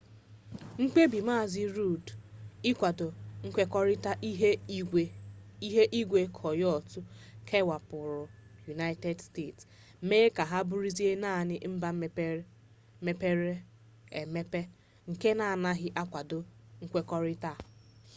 mkpebi mazị rudd ịkwado nkwekọrita ihu igwe kyoto kewapụrụ united states mee ka ha bụrụzie naanị mba mepere-emepe nke na-agaghị akwado nkwekọrịta a